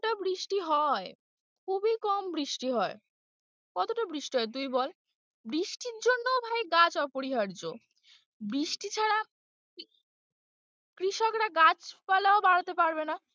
কোথায় বৃষ্টি হয় খুবই কম বৃষ্টি হয় কতটা বৃষ্টি হয় তুই বল? বৃষ্টির জন্যও ভাই গাছ অপরিহার্য বৃষ্টি ছাড়া কৃষকরা গাছ-পালাও বাড়াতে পারবে না।